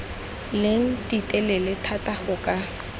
leng ditelele thata go ka